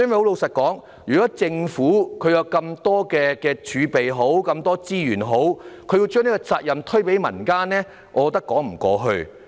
老實說，政府有如此龐大的儲備和資源，卻把責任推予民間團體，我認為說不過去。